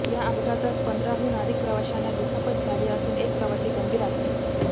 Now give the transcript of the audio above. या अपघातात पंधराहून अधिक प्रवाशांना दुखापत झाली असून एक प्रवासी गंभीर आहे